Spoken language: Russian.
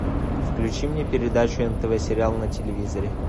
включи мне передачу нтв сериал на телевизоре